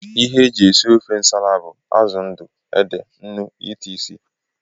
Ihe eji esị ofe ǹsàlà bú: Azụ ndụ, ede, ńnú etc.